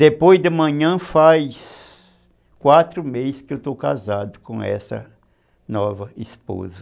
Depois de manhã faz quatro meses que eu estou casado com essa nova esposa.